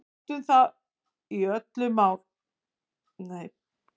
Við átum það í öll mál.